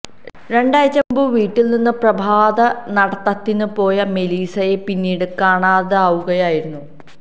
രണ്ടാഴ്ച മുമ്പ് വീട്ടിൽനിന്ന് പ്രഭാത നടത്തതിന് പോയ മെലീസയെ പിന്നീട് കാണാതാവുകയായിരുന്നു